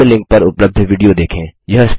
निम्न लिंक पर उपलब्ध विडियो देखें